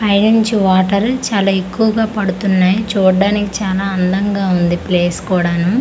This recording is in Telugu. పై నుంచి వాటర్ చాలా ఎక్కువగా పడుతున్నాయి చూడ్డానికి చానా అందంగా ఉంది ప్లేస్ కూడాను.